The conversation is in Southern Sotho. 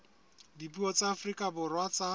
dipuo tsa afrika borwa tsa